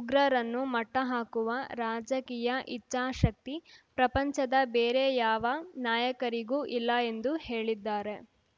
ಉಗ್ರರನ್ನು ಮಟ್ಟಹಾಕುವ ರಾಜಕೀಯಾ ಇಚ್ಛಾಶಕ್ತಿ ಪ್ರಪಂಚದ ಬೇರೆ ಯಾವ ನಾಯಕರಿಗೂ ಇಲ್ಲ ಎಂದು ಹೇಳಿದ್ದಾರೆ